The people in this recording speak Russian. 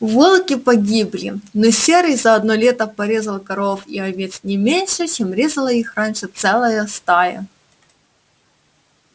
волки погибли но серый за одно лето порезал коров и овец не меньше чем резала их раньше целая стая